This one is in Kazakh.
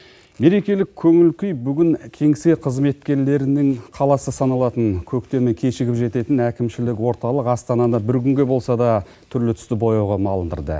мерекелік көңіл күй бүгін кеңсе қызметкерлерінің қаласы саналатын көктемі кешігіп жететін әкімшілік орталық астанада бір күнге болса да түрлі түсті бояуға малындырды